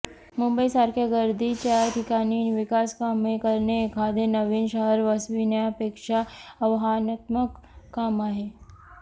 मुंबईसारख्या गर्दीच्या ठिकाणी विकासकामे करणे एखादे नवीन शहर वसविण्यापेक्षा आव्हानात्मक काम आहे